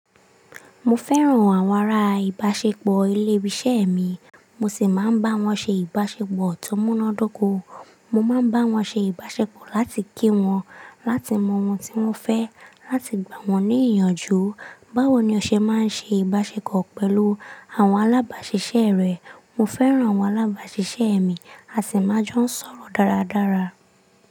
Mo fẹ́ràn àwọn ará ìbáṣepọ̀ ilé ibi iṣẹ́ mi, mo sì máa ń bá wọ́n ṣe ìbáṣepọ̀ tó múná d'óko. Mo máa ń bá wọn ṣe ìbáṣepọ̀ láti kí wọn, láti mọ ohun tí wọ́n fẹ́, láti gbà wọ́n ní ìyànjú. Báwo ni o ṣe máa ń ṣe ìbáṣepọ̀ pẹ̀lú àwọn alábàáṣiṣẹ́ rẹ? Mo fẹ́ràn àwọn alábàáṣiṣẹ́ mi, a sì máa jọ ń sọ̀rọ̀ dáradára.